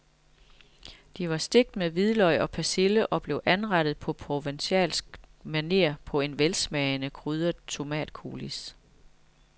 De var stegt med hvidløg og persille og blev anrettet på provencalsk maner på en velsmagende krydret tomatcoulis.